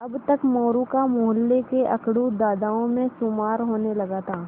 अब तक मोरू का मौहल्ले के अकड़ू दादाओं में शुमार होने लगा था